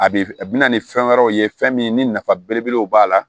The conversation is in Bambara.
A bɛ f a bɛ na ni fɛn wɛrɛw ye fɛn min ni nafa belebelew b'a la